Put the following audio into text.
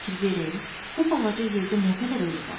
Bircə fikir verin, bu balaca yerdə nə qədər ölü var.